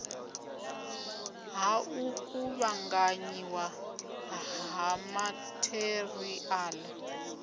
ha u kuvhanganyiwa ha matheriala